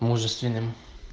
мужественным